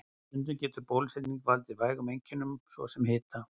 Stundum getur bólusetning valdið vægum einkennum, svo sem hita.